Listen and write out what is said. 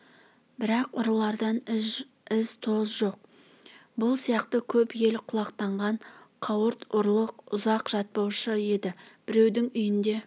бірақ ұрылардан із-тоз жоқ бұл сияқты көп ел құлақтанған қауырт ұрлық ұзақ жатпаушы еді біреудің үйінде